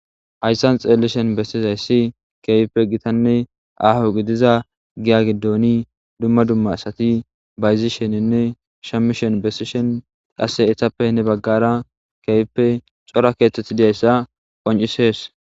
hayssan xeellishen bessiz hayssi keehipe gitanne aaho gidiza giya giddoni dumma dumma asati bayzisheninne shamishen bessishen qasse etappe ne baggara keehipe cora keeththeth diyzayssa qoncisees